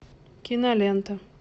кинолента